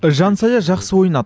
жансая жақсы ойнады